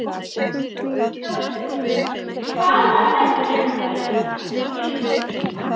neitandi, þá er spurt, hvaða venja gildir í þessum tilvikum?